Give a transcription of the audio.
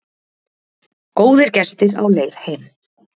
Góðir gestir á leið heim